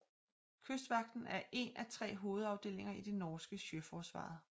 Kystvakten er én af tre hovedafdelinger i det norske Sjøforsvaret